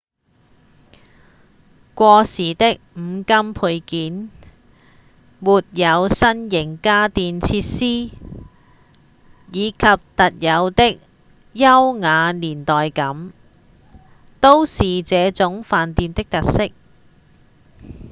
過時的五金配件、沒有新型家電設施以及特有的優雅年代感都是這種飯店的特色